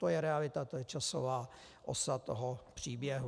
To je realita, to je časová osa toho příběhu.